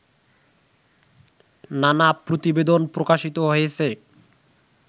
নানা প্রতিবেদন প্রকাশিত হয়েছে